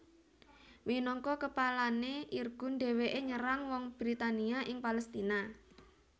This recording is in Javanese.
Minangka kepalané Irgun dhèwèké nyerang wong Britania ing Palèstina